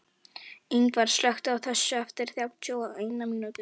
Yngvar, slökktu á þessu eftir þrjátíu og eina mínútur.